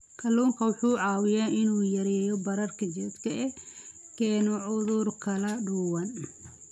Kalluunku waxa uu caawiyaa in uu yareeyo bararka jidhka ee keena cudurro kala duwan.